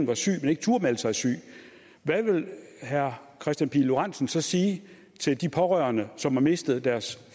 var syg men ikke turde melde sig syg hvad vil herre kristian pihl lorentzen så sige til de pårørende som har mistet deres